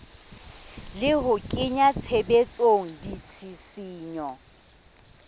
le ho kenya tshebetsong ditshisinyo